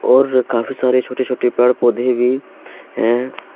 और काफी सारे छोटे-छोटे पेड़ पौधे भी हैं।